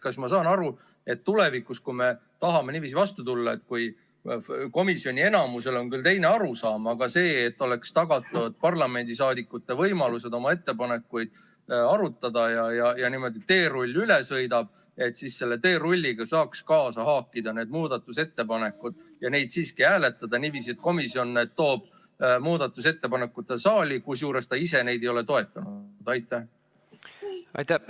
Kas ma saan aru, et kui me tulevikus tahame vastu tulla komisjoni enamusel on küll teine arusaam, aga tahetakse tagada parlamendiliikmete võimalus oma ettepanekuid arutada, siis juhul, kui teerull niimoodi üle sõidab, saaks selle teerulliga kaasa haakida ka need muudatusettepanekud ja neid siiski hääletada niiviisi, et komisjon toob muudatusettepanekud saali, kuigi ta ise neid ei ole toetanud?